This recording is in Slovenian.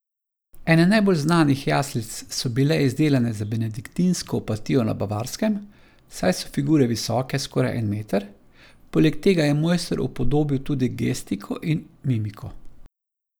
Ene najbolj znanih jaslic so bile izdelane za benediktinsko opatijo na Bavarskem, saj so figure visoke skoraj en meter, poleg tega je mojster upodobil tudi gestiko in mimiko.